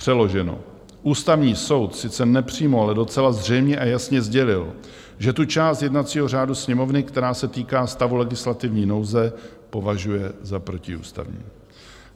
Přeloženo: Ústavní soud sice nepřímo, ale docela zřejmě a jasně sdělil, že tu část jednacího řádu Sněmovny, která se týká stavu legislativní nouze, považuje za protiústavní.